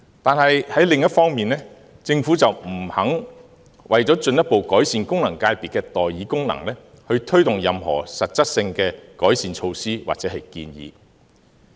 可是，另一方面，政府不肯為進一步改善功能界別的代議功能，推動任何實質性的改善措施或建議。